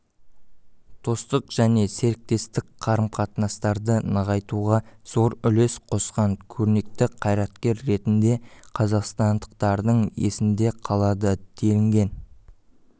достық және серіктестік қарым-қатынастарды нығайтуға зор үлес қосқан көрнекті қайраткер ретінде қазақстандықтардың есінде қалады делінген